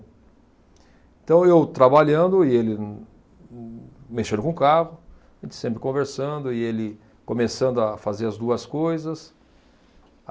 Então eu trabalhando e ele mexendo com o carro, a gente sempre conversando e ele começando a fazer as duas coisas.